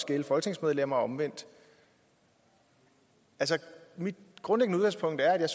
gælde folketingsmedlemmer og omvendt altså mit grundlæggende udgangspunkt er